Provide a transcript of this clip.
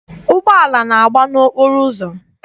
Ụgbọala na-agba n'okporo ụzọ.